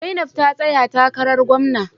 Zainab ta tsaya takarar gwamna.